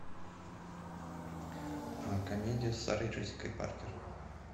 комедия с сарой джессикой паркер